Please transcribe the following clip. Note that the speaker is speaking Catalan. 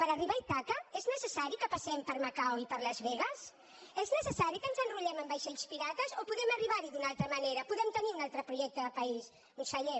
per arribar a ítaca és necessari que passem per macau i per las vegas és necessari que ens enrolem en vaixells pirates o podem arribar hi d’una altra manera podem tenir un altre projecte de país conseller